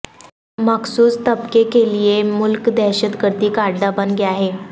مخصوص طبقے کیلئے ملک دہشت گردی کا اڈہ بن گیا ہے